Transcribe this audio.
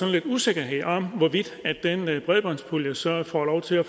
lidt usikkerhed om hvorvidt den bredbåndspulje så får lov til at